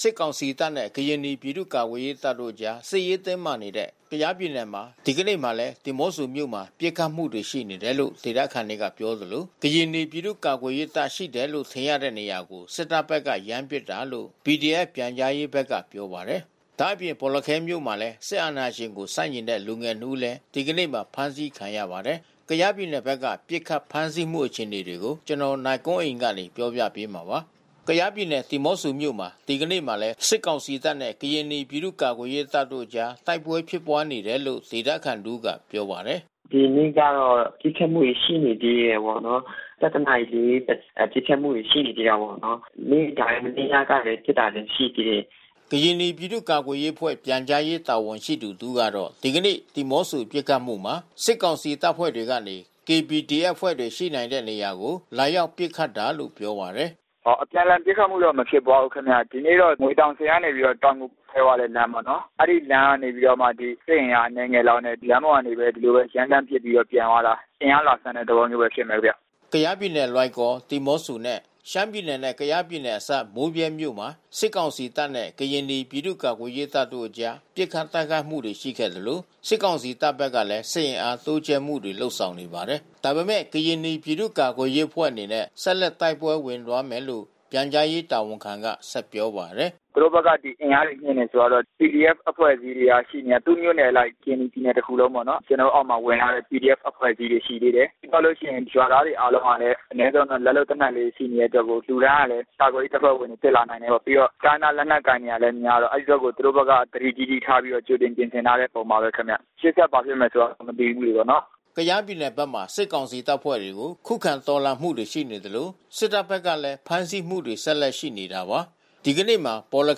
စစ်ကောင်စီတပ်နဲ့ ကရင်နီ ပြည်သူ့ကာကွယ်ရေးတပ်တို့အကြား စစ်ရေးတင်းမာနေတဲ့ ကယားပြည်နယ်မှာ ဒီကနေ့မှာလည်း ဒီးမော့ဆိုမြို့မှာ ပစ်ခတ်မှု ရှိနေတယ်လို့ ဒေသခံတွေကပြောသလို ကရင်နီ ပြည်သူ့ကာကွယ်ရေးတပ် ရှိတယ်လို့ ထင်တဲ့နေရာကို စစ်တပ်ဘက်က ရမ်းပစ်တာလို့ PDF ပြန်ကြားရေးဘက်က ပြောပါတယ်။ ဒါ့အပြင် ဘော်လခဲမြို့မှာလည်း စစ်အာဏာရှင်ကို ဆန့်ကျင်တဲ့ လူငယ်နှစ်ဦးလည်း ဒီကနေ့မှာ ဖမ်းဆီးခံရပါတယ်။ ကယားပြည်နယ်ဘက်က ပစ်ခတ်ဖမ်းဆီးမှု အခြေအနေကို နိုင်ကွန်းအိန် တင်ပြပေးထားပါတယ်။ ကယားပြည်နယ် ဒီးမော့ဆိုမြို့မှာ ဒီနေ့မှာလည်း စစ်ကောင်စီတပ်နဲ့ ကရင်နီ ပြည်သူ့ကာကွယ်ရေးတပ်တို့အကြား တိုက်ပွဲဖြစ်ပွားနေတယ်လို့ ဒေသခံတဦးက ပြောပါတယ်။ “ဒီနေ့ကတော့ ပစ်ခတ်မှုတွေ ရှိနေသေးတယ်ပေါ့နော်။ ၁၁ နာရီ ၄၀ မှာ ပစ်ခတ်မှုတွေ ရှိနေသေးတယ်ပေါ့နော်။ နေ့တိုင်း မနေ့ညကလည်း ပစ်ခတ်တာတွေ ရှိသေးတယ်။” ကရင်နီ ပြည်သူ့ကာကွယ်ရေးအဖွဲ့ ပြန်ကြားရေး တာဝန်ရှိသူ တဦးကတော့ ဒီကနေ့ ဒီးမော့ဆို ပစ်ခတ်မှုမှာ စစ်ကောင်စီတပ်ဖွဲ့တွေကနေ KPDF အဖွဲ့တွေ ရှိနိုင်တဲ့နေရာကို လာရောက်ပစ်ခတ်တာလို့ ပြောပါတယ်။ “အပြန်အလှန် ပစ်ခတ်မှုတော့ မဖြစ်ပွားဘူးခင်ဗျ။ ဒီနေ့တော့ ငွေတောင်ဆည်ကနေ တောင်ငူခွဲသွားတဲ့ လမ်းပေါ့နော်။ အဲဒီလမ်းကနေပြီးတော့ စစ်အင်အား အနည်းငယ်လောက်နဲ့ လမ်းပေါ်ကနေပြီးတော့ ဒီလိုပဲ ရမ်းသန်းပစ်ပြီးတော့ ပြန်သွားတာ။ အင်အားလာစမ်းတဲ့ သဘောမျိုး ဖြစ်မယ်ဗျ။” ကယားပြည်နယ် လွိုင်ကော်၊ ဒီးမော့ဆိုနဲ့ ရှမ်းပြည်နယ်နဲ့ ကယားပြည်နယ်အစပ် မိုးဗြဲမြို့မှာ စစ်ကောင်စီတပ်နဲ့ ကရင်နီ ပြည်သူ့ကာကွယ်ရေးတပ်တို့အကြား ပစ်ခတ်တိုက်ခိုက်မှုတွေ ရှိခဲ့သလို စစ်ကောင်စီတပ်ဘက်ကလည်း စစ်အင်အား တိုးချဲ့မှုတွေ လုပ်ဆောင်လာပါတယ်။ ဒါပေမယ့် ကရင်နီ ပြည်သူ့ကာကွယ်ရေးတပ်ဖွဲ့ အနေနဲ့ ဆက်လက် တိုက်ပွဲဝင်သွားမယ်လို့ ပြန်ကြားရေးတာဝန်ခံက ဆက်ပြောပါတယ်။ “သူတို့ဘက်က အင်အားတွေမြှင့်တယ် ဆိုတာတော့ PDF အဖွဲ့အစည်းတွေက ရှိနေတယ်။ သူ့မြို့နယ်အလိုက် ကရင်နီပြည်နယ် တခုလုံးပေါ့နော်။ ကျနော်တို့အောက်မှာ ဝင်လာတဲ့ PDF အဖွဲ့အစည်းတွေ ရှိသေးတယ်။ ပြီးလို့ရှိရင် ရွာသားတွေ အားလုံးကလည်း အနည်းဆုံးတော့ လက်လုပ်သေနတ်လေးတွေ ရှိနေကြလို့ လူတိုင်းကလည်း ကာကွယ်ရေးတပ်ဖွဲ့ဝင်တွေ ဖြစ်လာနိုင်တယ်ပေါ့။ ပြီးတော့ တိုင်းရင်းသား လက်နက်ကိုင်တွေကလည်း များတော့ အဲဒီဘက်ကို သူတို့ဘက်က သတိကြီးကြီး ထားပြီးတော့ ကြိုတင်ပြင်ဆင်ထားတဲ့ ပုံပါပဲဗျ။ ရှေ့ဆက် ဘာဖြစ်မယ်ဆိုတာ မသိဘူးလေနော်။” ကယားပြည်နယ်ဘက်မှာ စစ်ကောင်စီတပ်ဖွဲ့တွေကို ခုခံတော်လှန်မှုတွေ ရှိနေသလို စစ်တပ်ဘက်ကလည်း ဖမ်းဆီးမှုတွေ ဆက်လက်ရှိနေတာပါ။ ဒီနေ့မနက်မှာ ဘော်လ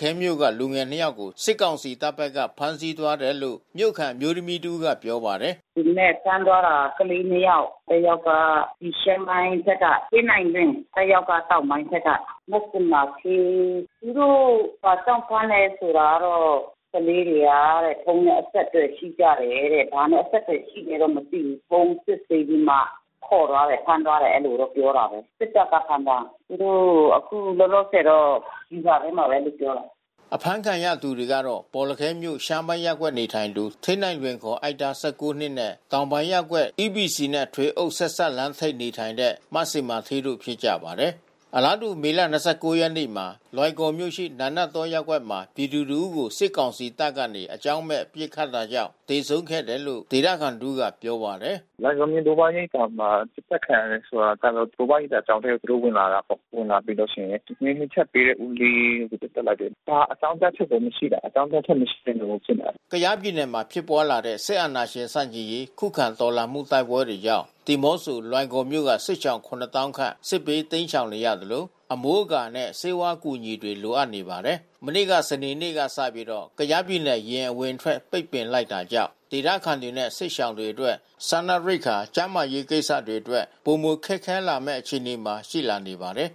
ခဲမြို့က လူငယ်နှစ်ယောက်ကို စစ်ကောင်စီတပ်ဘက်က ဖမ်းဆီးသွားတယ်လို့ မြို့ခံ အမျိုးသမီးတဦးက ပြောပါတယ်။ “ဒီမနက် ဖမ်းသွားတာ ကလေး ၂ ယောက်။ တယောက်က ရှမ်းပိုင်းဘက်က ဌေးနိုင်လွင်၊ တယောက်က တောင်ပိုင်းဘက်က မဇင်မာဌေး။ သူတို့ ဘာကြောင့်ဖမ်းတယ် ဆိုတာကတော့ ကလေးတွေက ဖုန်းနဲ့ အဆက်အသွယ် ရှိကြတယ်တဲ့။ ဘာနဲ့အဆက်အသွယ်ရှိတယ်တော့ မသိဘူး။ ဖုန်းစစ်ဆေးပြီးမှ ခေါ်သွားတယ်၊ ဖမ်းသွားတယ်၊ အဲဒီလိုတော့ ပြောတာပဲ။ စစ်တပ်က ဖမ်းသွားတာ။ သူတို့ အခုလောလောဆယ်တော့ ဗျူဟာထဲမှာပဲလို့ ပြောတယ်။” အဖမ်းခံရသူတွေကတော့ ဘောလခဲမြို့ ရှမ်းပိုင်းရပ်ကွက်နေထိုင်သူ ဌေးနိုင်လွင် အိုက်သား ၁၉ နှစ်နဲ့ တောင်ပိုင်းရပ်ကွက် EPC နဲ့ ထွေအုပ်ဆက်စပ်လမ်းထိပ် နေထိုင်တဲ့ မဇင်မာဌေးတို့ ဖြစ်ကြပါတယ်။ အလားတူ မေလ ၂၉ ရက်နေ့မှာ လွိုင်ကော်မြို့ရှိ နာနတ်တောရပ်ကွက်မှာ ပြည်သူတဦးကို စစ်ကောင်စီတပ်ကနေ အကြောင်းမဲ့ ပစ်ခတ်ခဲ့တာကြောင့် သေဆုံးခဲ့တယ်လို့ ဒေသခံတဦးက ပြောပါတယ်။ “လွိုင်ကော်မြို့ ဘိုးဘွားရိပ်သာမှာ ပစ်သတ်ခံရတယ် ဆိုတာကတော့ ဘိုးဘွားရိပ်သာကျောင်းထဲ သူတို့ ဝင်လာတာပေါ့။ ဝင်လာပြီးတော့ ထမင်းမချက်ပေးတဲ့ ဦးလေးကို ပစ်သတ်လိုက်တယ်။ ဘာအကြောင်းပြချက်ကို မရှိတာ။ အကြောင်းပြချက် မရှိဘဲနဲ့ကို ပစ်တာ။” ကယားပြည်နယ်မှာ ဖြစ်ပွားလာတဲ့ စစ်အာဏာရှင်ဆန့်ကျင်ရေး ခုခံတော်လှန်မှု တိုက်ပွဲတွေကြောင့် ဒီးမော့ဆို၊ လွိုင်ကော်မြို့နယ်က စစ်ရှောင် ၇၀,၀၀၀ ခန့် စစ်ဘေးတိမ်းရှောင်နေရသလို အမိုးအကာနဲ့ ဆေးဝါးအကူအညီ လိုအပ်နေပါတယ်။ မနေ့ စနေနေ့ကစပြီး ကယားပြည်နယ် ယာဉ်အဝင်အထွက် ပိတ်ပင်လိုက်တာကြောင့် ဒေသခံတွေနဲ့ စစ်ရှောင်တွေအတွက် စားနပ်ရိက္ခာ ကျန်းမာရေးကိစ္စတွေအတွက် ပိုမိုခက်ခဲလာမယ့် အခြေအနေမှာ ရှိလာနေပါတယ်။